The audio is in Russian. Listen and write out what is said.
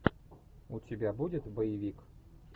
у тебя будет боевик